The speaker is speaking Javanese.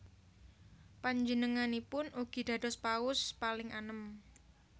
Panjenenganipun ugi dados Paus paling anem